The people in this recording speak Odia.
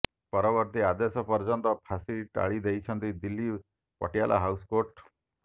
ପରବର୍ତ୍ତୀ ଆଦେଶ ପର୍ଯ୍ୟନ୍ତ ଫାଶୀ ଟାଳିଦେଇଛନ୍ତି ଦିଲ୍ଲୀ ପଟିଆଲା ହାଉସ୍ କୋର୍ଟ